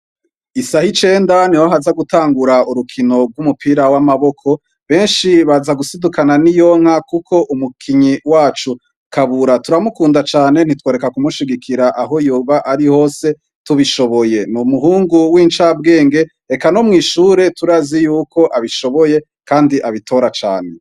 Isaha icenda niho haza gutangura urukino gumupira wamaboko benshi bazagusidukana niyonka kuko umukinyi wacu kabura turamukunda cane ntitworeka kumushigikira aho yobari hose tubishoboye numuhungu wincabwenge eka nomwishure turazi yuko abishoboye kandi abitora cane